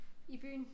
I byen